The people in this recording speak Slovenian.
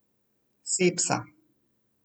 Sepsa!